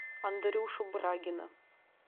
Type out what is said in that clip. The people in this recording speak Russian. андрюшу брагина